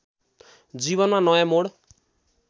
जीवनमा नयाँ मोड